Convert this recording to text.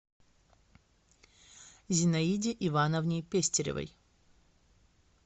зинаиде ивановне пестеревой